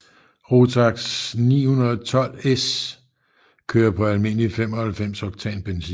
Rotax 912S kører på almindeligt 95 oktan benzin